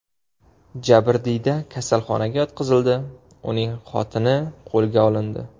Jabrdiyda kasalxonaga yotqizildi, uning xotini qo‘lga olindi.